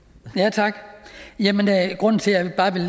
tak grunden til at jeg bare vil